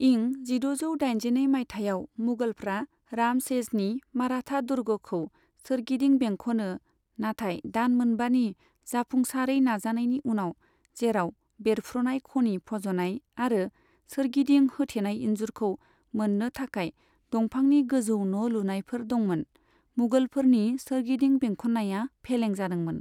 इं जिद'जौ दाइनजिनै मायथाइयाव, मुगलफ्रा रामसेजनि मराठा दुर्गखौ सोरगिदिं बेंखनो, नाथाय दान मोनबानि जाफुंसारै नाजानायनि उनाव, जेराव बेरफ्रुनाय खनि फज'नाय आरो सोरगिदिं होथेनाय इन्जुरखौ मोननो थाखाय दंफांनि गोजौ न' लुनायफोर दंमोन, मुगलफोरनि सोरगिदिं बेंखननाया फेलें जादोंमोन।